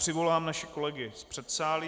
Přivolám naše kolegy z předsálí.